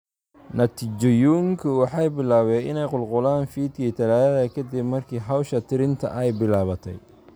Natiijooyinku waxay bilaabeen inay qulqulaan fiidkii Talaadada ka dib markii hawsha tirinta ay bilaabatay.